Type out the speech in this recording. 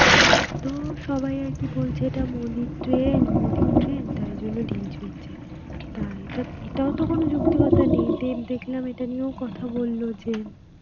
তো সবাই আর কি বলছে এটা মোদির train, মোদির train, তাই জন্য ঢিল ছুটছে. তা এটা~, এটাও তো কোনো যুক্তিকতা নেই, then দেখলাম এটা নিয়েও কথা বলল যে,